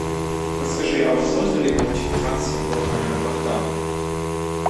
подскажи а возможно ли получить трансфер до аэропорта